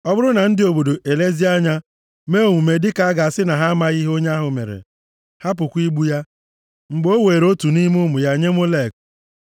Ọ bụrụ na ndị obodo elezie anya mee omume dịka a ga-asị na ha amaghị ihe onye ahụ mere, hapụkwa igbu ya, mgbe o were otu nʼime ụmụ ya nye Molek,